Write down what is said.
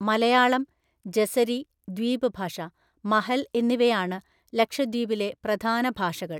മലയാളം, ജെസെരി (ദ്വീപ് ഭാഷ), മഹൽ എന്നിവയാണ് ലക്ഷദ്വീപിലെ പ്രധാന ഭാഷകൾ.